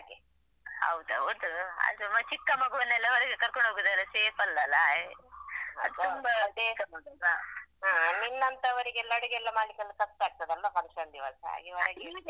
ಹೌದು ಹೌದು ಆದ್ರು ಚಿಕ್ಕ ಮಗುವನ್ನೆಲ್ಲಾ ಹೊರಗೆ ಕರ್ಕೊಂಡು ಹೋಗುದೆಲ್ಲ safe ಅಲ್ಲ ಅಲ್ಲಾ ಅದು ತುಂಬಾ danger ಅಲ್ವಾ ಹಾ ನಿನ್ನಂತವರಿಗೆಲ್ಲಾ ಅಡುಗೆಯೆಲ್ಲಾ ಮಾಡ್ಲಿಕ್ಕೆಲ ಕಷ್ಟ ಆಗ್ತದಲ್ಲ function ದಿವಸ ಹಾಗೆ ಹೊರಗೆ.